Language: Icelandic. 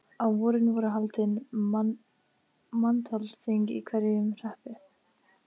Á vorin voru haldin manntalsþing í hverjum hreppi.